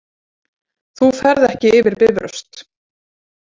Þú ferð ekki yfir Bifröst